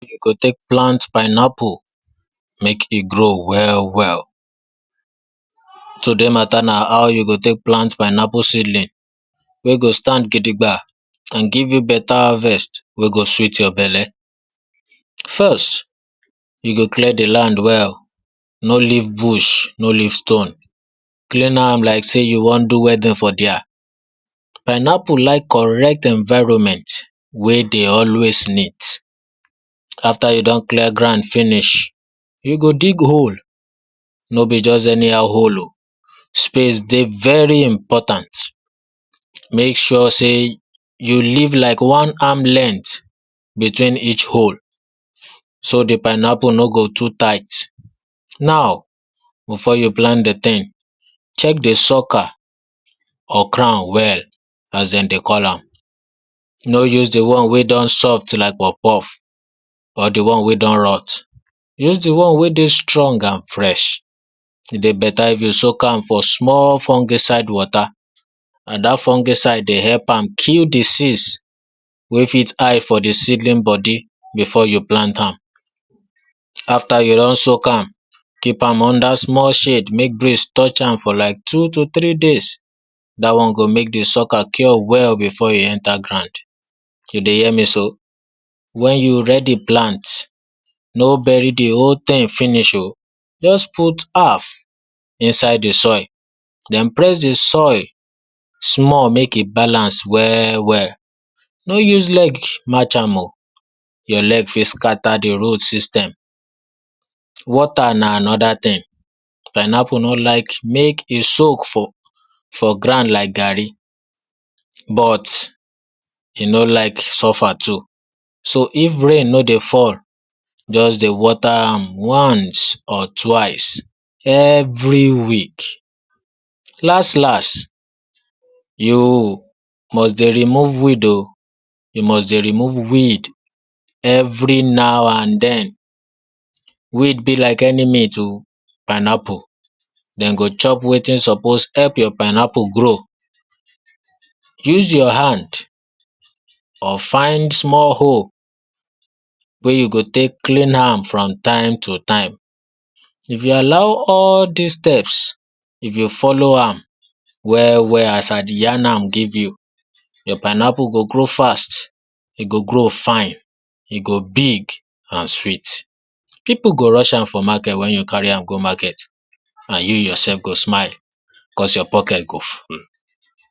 How you go take plant pineapple, make e grow well well. Today matter na how you go take plant pineapple seedling wey go stand gidigba and give you better harvest wey go sweet your belly. First, you go clear the land well. No leave bush, no leave stone. Clean am like sey you wan do wedding for dere. Pineapple like correct environment wey dey always neat. After you done clear ground finish, you go dig hole. No be just anyhow hole oh. Space dey very important. Make sure sey you leave like one arm length between each hole. So the pineapple no go too tight. Now, before you plant the thing, check the sucker or crown well as de dey call am. No use the one wey don soft like puff-puff or the one wey don rough. Use the one wey dey strong and fresh. E dey better if you soak am for small fungicide water. And dat fungicide dey help am kill disease, wey fit hide for the seedling body before you plant arm. After you don soak am, keep am under small shade, make breeze touch am for like two to three days. Dat one go make the sucker cure well before e enter ground. You dey hear me so? When you ready plant, no bury the whole thing finish oh. Just put half inside the soil. Den press the soil small, make e balance well well. No use leg match am oh. Your leg fit scatter the root system. Water na anoda thing. Pineapple no like make e soak for ground like gari. But e no like suffer too. So if rain no dey fall, Just dey water am once or twice every week. Last last, you must dey remove weed oh. You must dey remove weed every now and den. Weed be like enemy to pineapple. D go chop wetin suppose help your pineapple grow. Use your hand or find small hole wey you go take clean am from time to time. If you allow all des steps, if you follow am well well as I dey yarn am give you, your pineapple go grow fast. E go grow fine. E go big and sweet. Pipu go rush am for market, wen you carry am go market. And you yourself go smile cos your pocket go full.